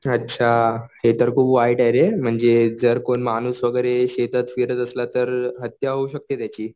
अच्छा ते तर खूप वाईट आहे रे म्हणजे जर कोण माणूस वगैरे शेतात फिरत असला तर हत्या होऊ शकते त्याची.